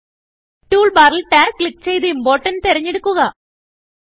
tool ബാറിൽ Tagക്ലിക്ക് ചെയ്ത് Importantതെരഞ്ഞെടുക്കുക